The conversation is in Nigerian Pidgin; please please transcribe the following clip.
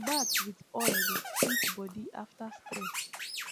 bath with oil dey sweet body after stress